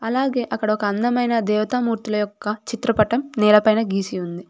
అలాగే అక్కడ ఒక అందమైన దేవతామూర్తుల యొక్క చిత్రపటం నేలపైన గీసి ఉంది.